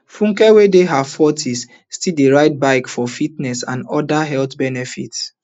funke wey dey her fortys still dey ride bicycle for fitness and oda health benefits